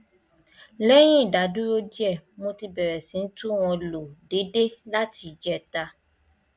lẹyìn ìdádúró díẹ mo ti bẹrẹ sí i tún wọn lò déédé láti ìjẹta